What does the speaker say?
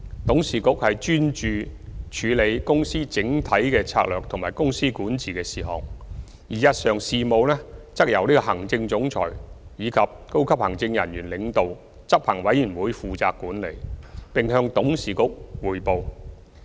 董事局專注處理公司整體策略及公司管治的事項，而日常事務則由行政總裁及由高級行政人員領導的執行委員會負責管理，並向董事局匯報。